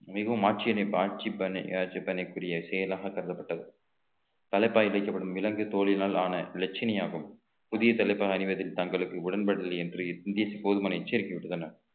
மிகவும் ஆட்சியினைப் ஆட்சி கண்ணுக்குத்தெரிய செயலாக கருதப்பட்டது தலைப்பாய் வைக்கப்படும் விலங்கு தோலினால் ஆன லட்சுமி ஆகும் புதிய தலைப்பாக அணிவதில் தங்களுக்கு உடன்படவில்லை என்று போதுமான எச்சரிக்கை விடுத்துள்ளனர்